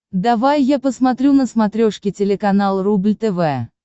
давай я посмотрю на смотрешке телеканал рубль тв